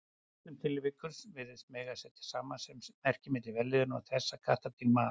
Í flestum tilvikum virðist mega setja samasemmerki milli vellíðunar og þess að kattardýr mali.